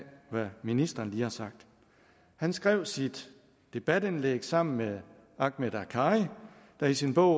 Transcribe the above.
hvad ministeren lige har sagt han skrev sit debatindlæg sammen med ahmed akkari der i sin bog